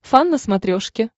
фан на смотрешке